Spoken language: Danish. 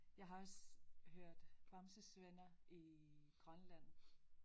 Jeg har også hørt Bamse's Venner i Grønland